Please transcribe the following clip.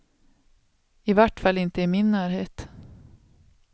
I vart fall inte i min närhet.